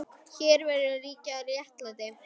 Hér verður líka að ríkja réttlæti.